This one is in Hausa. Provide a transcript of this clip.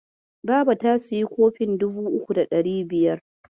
Babata ta sayi kofin dubu uku da ɗari biyar.